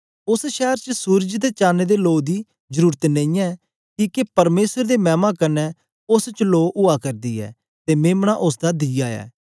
पस शैर च सूरज ते चान दे लो दी जरुरत नेईयै किके परमेसर दे मैमा कन्ने उस्स च लो उआ करदी ऐ ते मेम्ना उस्स दा दीया ऐ